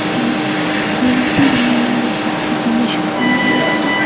যা গোলাপী রঙের বাতি দিয়ে সাজানো রয়েছে।